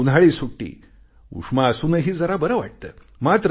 उन्हाळी सुट्टी उष्मा असूनही जरा बरे वाटते